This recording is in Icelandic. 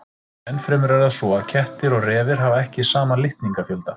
Ennfremur er það svo að kettir og refir hafa ekki sama litningafjölda.